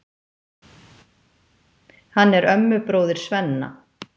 Hann er ömmubróðir Svenna.